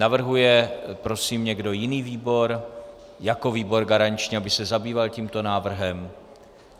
Navrhuje prosím někdo jiný výbor jako výbor garanční, aby se zabýval tímto návrhem?